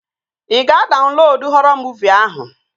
Ị ga-adaunlodu họrọ muuvi ahụ?